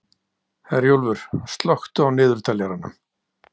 Herjólfur, slökktu á niðurteljaranum.